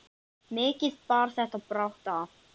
Er þér mál að pissa?